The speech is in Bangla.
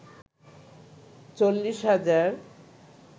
৪০ হাজার